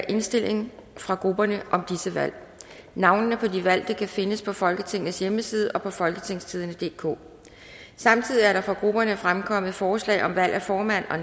indstilling fra grupperne om disse valg navnene på de valgte kan findes på folketingets hjemmeside og på folketingstidende DK samtidig er der fra grupperne fremkommet forslag om valg af formand og